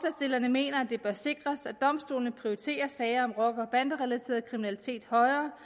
mener at det bør sikres at domstolene prioriterer sager om rocker og banderelateret kriminalitet højere